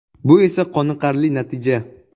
Bu esa qoniqarli natija.